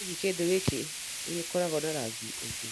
Hihi kindo giki nĩ gikoragwo na rangi ungĩ?